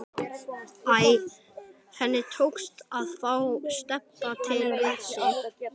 Æ, henni tókst að fá Stebba til við sig.